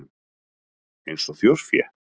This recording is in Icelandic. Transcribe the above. Eins og þjórfé?